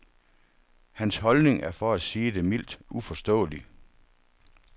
Hans holdning er for at sige det mildt uforståelig.